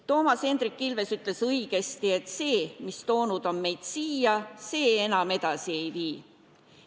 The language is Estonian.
Toomas Hendrik Ilves ütles õigesti, et see, mis on toonud meid siia, enam edasi ei vii.